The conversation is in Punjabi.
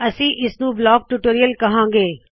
ਅਸੀ ਇਸਨੂ ਬਲੌਕਸ ਟਿਊਟੋਰੀਅਲ ਕਹਾੰ ਗੇ